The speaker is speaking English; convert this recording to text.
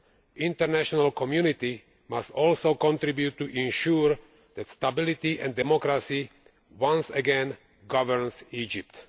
The international community must also contribute to ensuring that stability and democracy once again govern Egypt.